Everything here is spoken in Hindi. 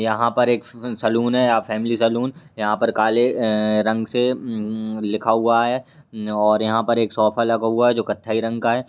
यहां पर एक फु सैलून है या फैमिली सैलून । यहां पर काले अअअ रंग से उउ लिखा हुआ है। और- यहां पर एक सोफा लगा हुआ है जो कत्थई रंग का है।